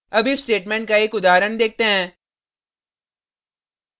अब if statement का एक उदाहरण देखते हैं